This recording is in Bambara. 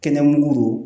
Kɛnɛmugu don